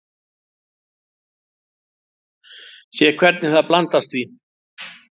Sé hvernig það blandast því.